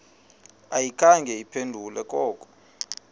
ayikhange iphendule koko